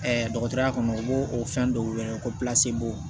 dɔgɔtɔrɔya kɔnɔ u b'o o fɛn dɔw wele ko b'o